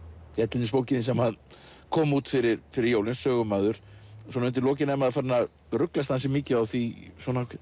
til dæmis bókin þín sem kom út fyrir fyrir jólin sögumaður svona undir lokin er maður farinn að ruglast ansi mikið á því